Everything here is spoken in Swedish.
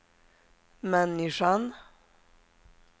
människan